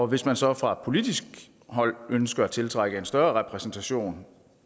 hvis man så fra politisk hold ønsker at tiltrække en større repræsentation